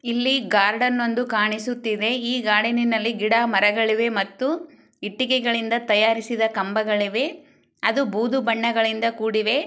ಇಲ್ಲಿ ಗಾರ್ಡನ ಒಂದು ಕಾಣಿಸುತ್ತಿದೆ. ಈ ಗಾರ್ಡನ್ ಗಿಡ ಮರಗಳಿವೆ ಮತ್ತು ಇಟ್ಟಿಗೆಗಳಿಂದ ತಯಾರಿಸಿದ ಕಾಂಬಗಳಿವೆ. ಅದು ಬುದೂ ಬಣ್ಣದಿಂದ ಕೂಡಿವೆ.